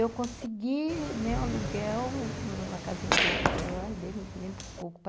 Eu consegui, né, um aluguel, uma casinha de aluguel, aí dele eu lembro pouco, pa